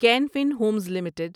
can Fin Homes limited